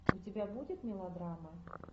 у тебя будет мелодрама